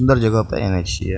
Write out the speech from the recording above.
सुंदर जगह पर एने छिये।